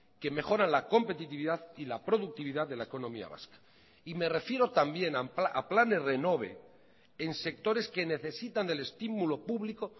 que mejoran la competitividad y la productividad de la economía vasca y me refiero también a planes renove en sectores que necesitan del estimulo público